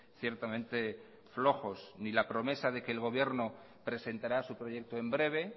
ciertamente flojos ni la promesa de que el gobierno presentará su proyecto en breve